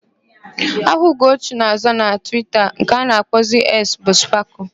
Aha Ugochi na-aza na Twita nke a na-akpọzi Eks bu Spakụl.